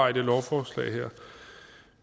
her lovforslag